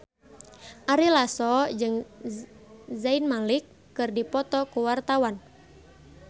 Ari Lasso jeung Zayn Malik keur dipoto ku wartawan